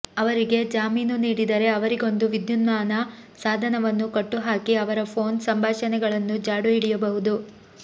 ಅವರಿಗೆ ಜಾಮೀನು ನೀಡಿದರೆ ಅವರಿಗೊಂದು ವಿದ್ಯುನ್ಮಾನ ಸಾಧನವನ್ನು ಕಟ್ಟುಹಾಕಿ ಅವರ ಫೋನ್ ಸಂಭಾಷಣೆಗಳನ್ನೂ ಜಾಡು ಹಿಡಿಯಬಹುದು